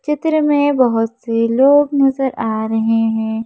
चित्र में बहुत से लोग नजर आ रहे हैं।